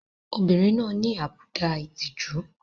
Obìnrin náà ní àbùdá ìtìjú.